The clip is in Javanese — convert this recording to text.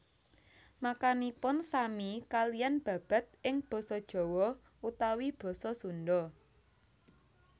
Maknanipun sami kaliyan babad ing basa Jawa utawi basa Sunda